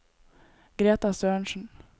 Greta Sørensen